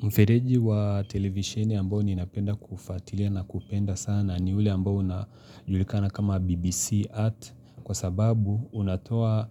Mfereji wa televisheni ambao ninapenda kufuatilia na kupenda sana ni ule ambao unajulikana kama BBC Art kwa sababu unatoa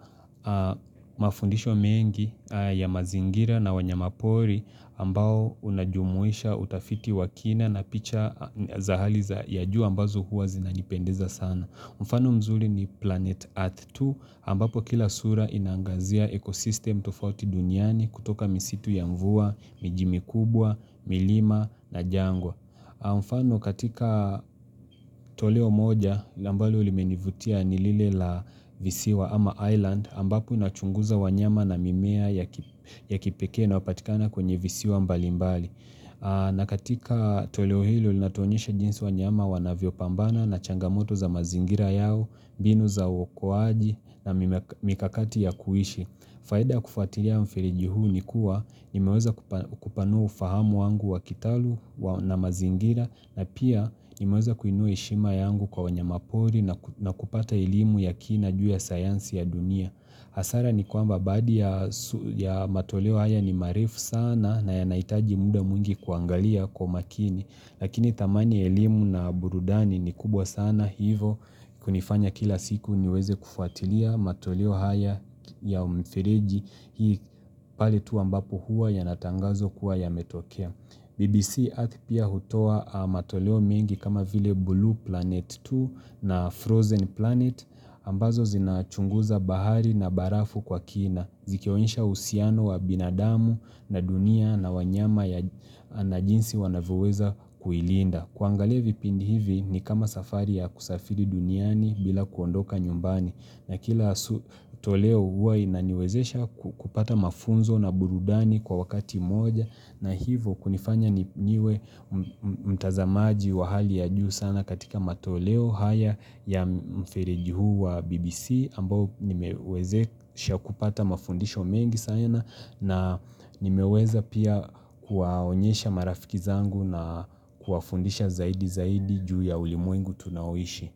mafundisho mengi ya mazingira na wanyamapori ambao unajumuisha utafiti wa kina na picha za hali za ya juu ambazo huwa zinanipendeza sana. Mfano mzuri ni Planet Earth 2 ambapo kila sura inangazia ekosistem tofauti duniani kutoka misitu ya mvua, mijimi kubwa, milima na jangwa. Mfano katika toleo moja na ambalo limenivutia ni lile la visiwa ama island ambapo inachunguza wanyama na mimea ya kipekee inayopatikana kwenye visiwa mbalimbali. Na katika toleo hilo ilinatonyesha jinsi wanyama wanavyopambana na changamoto za mazingira yao, binu za uokoaji na mikakati ya kuishi faida kufuatilia mfiliji huu ni kuwa nimeweza kupanua ufahamu wangu wa kitaluum na mazingira na pia nimeweza kuinua heshima yangu kwa wanyamapori na kupata elimu ya kina juu ya sayansi ya dunia hasara ni kwamba baadhi ya matoleo haya ni maarifu sana na yanahitaji muda mwingi kuangalia kwa makini, lakini thamani ya elimu na burudani ni kubwa sana hivyo, kunifanya kila siku niweze kufuatilia matoleo haya ya umifireji hii pa letu ambapo huwa yanatangazo kuwa yametokea. BBC Earth pia hutoa matoleo mengi kama vile blue Planet 2 na Frozen Planet ambazo zinachunguza bahari na barafu kwa kina. Zikionyesha uhusiano wa binadamu na dunia na wanyama na jinsi wanavyoweza kuilinda. Kuangalia vipindi hivi ni kama safari ya kusafiri duniani bila kuondoka nyumbani na kila toleo huwa inaniwezesha kupata mafunzo na burudani kwa wakati moja na hivo kunifanya niwe mtazamaji wa hali ya juu sana katika matoleo haya ya mfereji huu wa BBC ambao nimewezesha kupata mafundisho mengi sayana na nimeweza pia kuwaonyesha marafiki zangu na kuwafundisha zaidi zaidi juu ya ulimwengu tunaoishi.